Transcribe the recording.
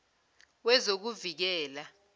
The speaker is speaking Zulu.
wezokuvikela